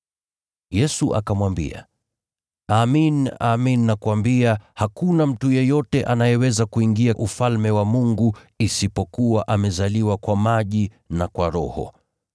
Yesu akamwambia, “Amin, amin nakuambia, hakuna mtu yeyote anayeweza kuingia Ufalme wa Mungu kama hajazaliwa kwa maji na kwa Roho.